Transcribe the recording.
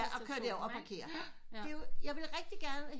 Kører der over og parkere det vil jeg vil rigtig gerne